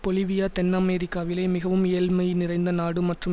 Bolivia தென் அமெரிக்காவிலே மிகவும் ஏழ்மை நிறைந்த நாடு மற்றும்